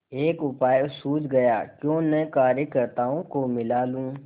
एक उपाय सूझ गयाक्यों न कार्यकर्त्ताओं को मिला लूँ